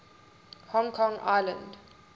hong kong island